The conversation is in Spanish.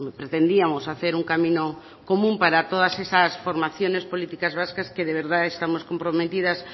pretendíamos hacer un camino común para todas esas formaciones políticas vascas que de verdad estamos comprometidas